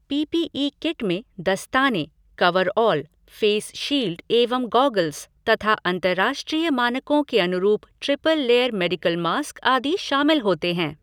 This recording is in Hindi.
पीपीई किट में दस्ताने, कवरऑल, फ़ेस शील्ड एवं गॉगल्स तथा अंतरराष्ट्रीय मानकों के अनुरुप ट्रिपल लेयर मेडिकल मास्क आदि शामिल होते हैं।